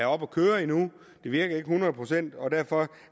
køre endnu det virker ikke hundrede procent og derfor